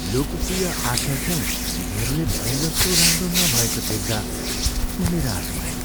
लोकप्रिय आकर्षण तिनीहरूले भने जस्तो राम्रो नभएको देख्दा म निराश भएँ।